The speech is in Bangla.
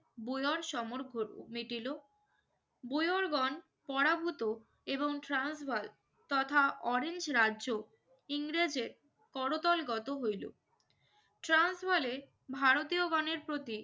বুড়োর সময় মিটিল বুইওরগণ পরাভূত এবং ট্রান্সভাল তথা অরেঞ্জ রাজ্য ইংরেজদের করতলগত হইল। ট্রান্সভালে ভারতীয়গণের প্রতি